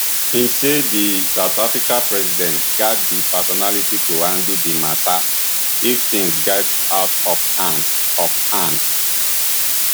im say di south african president gatz di personality to handle di mata if tins get out of hand of hand